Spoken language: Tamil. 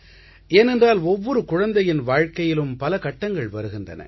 ஏனென்றால் ஒவ்வொரு குழந்தையின் வாழ்க்கையிலும் பல கட்டங்கள் வருகின்றன